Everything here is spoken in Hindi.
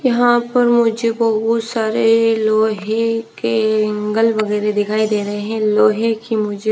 यहां पर मुझे बहुत सारे लोहे के इंगल वगेरे दिखाई दे रहे हैं लोहे के मुझे--